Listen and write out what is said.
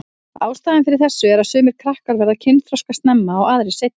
Ástæðan fyrir þessu er að sumir krakkar verða kynþroska snemma og aðrir seinna.